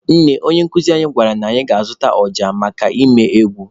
Nne, onye nkụzi anyị kwuru na anyị ga-azụta ọja maka ịmụ egwu.